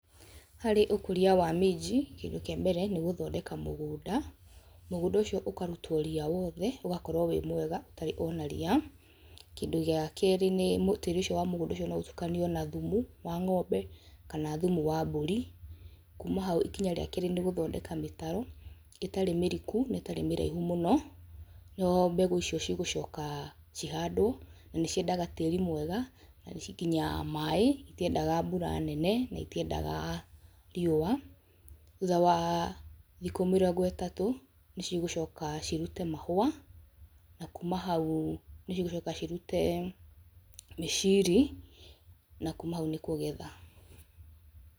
Harĩ ũkũria wa minji kĩndũ kĩa mbere nĩ gũthondeka mũgũnda, mũgũnda ũcio ũkarutwo ria wothe ũgakorwo wĩ mwega ũtarĩ ona ria. Kĩndũ gĩa keerĩ nĩ mũtĩrĩ ũcio wa mũgũnda ũcio no ũtukanio na thumu wa ng'ombe kana thumu wa mbũri. Kuuma hau ikinya rĩa keerĩ nĩ gũthondeka mĩtaro ĩtarĩ mĩriku na ĩtarĩ mĩraihu mũno nĩho mbegũ icio cigũcoka cihandwo na nĩ ciendaga tĩĩri mwega na nginya maĩ citiendaga mbura nene na itiendaga riũa. Thutha wa thikũ mĩrongo ĩtatũ nĩ cigũcoka cirute mahũa na kuuma hau nĩ cigũcoka cirute mĩciri na kuuma hau nĩ kũgetha.